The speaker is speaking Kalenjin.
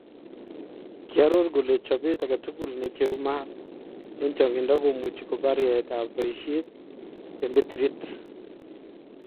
Kiaroor kole chopeet agetukul necheruu maat en chang'inda komuchi kobaar yaetab bayisyeet en betiriit